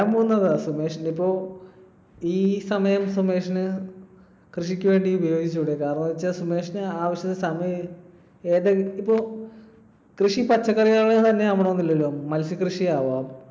സുമേഷിനിപ്പോ ഈ സമയം സുമേഷിന് കൃഷിക്ക് വേണ്ടി ഉപയോഗിച്ചുകൂടെ? കാരണമെന്താന്നുവെച്ചാൽ സുമേഷിന് ആവശ്യത്തിന് സമയം, ഏതെ, ഇപ്പൊ കൃഷി പച്ചക്കറികൾതന്നെ ആവണമെന്നില്ലല്ലോ. മത്സ്യകൃഷിയാവാം.